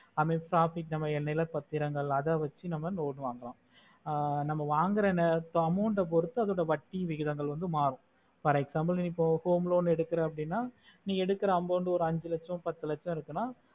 a next profit a நிலா பாத்திரங்கள் அத வெச்சி நம்ம loan வாங்கலாம் ஆஹ் நம்ம வாங்குற amount பொறுத்து அத்தோட வட்டியின் விகிதங்கள் மாறும் for example இப்போ home loan எடுக்குற அப்புடின்னா நீ எடுக்குற amount ஒரு அஞ்சி லச்சம் பத்து லச்சம் இருக்குன்னா